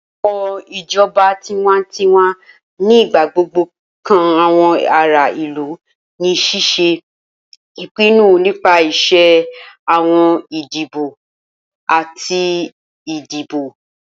Awọn ijọba tiwantiwa ni igbagbogbo kan awọn ara ilu ni ṣiṣe ipinnu nipasẹ awọn idibo ati idibo.